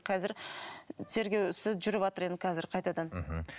қазір тергеу ісі жүріватыр енді қазір қайтадан мхм